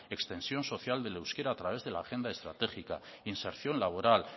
extensión social del euskera a través de la agenda estratégica inserción laboral